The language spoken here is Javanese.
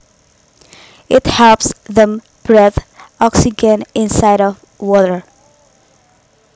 It helps them breathe oxygen inside of water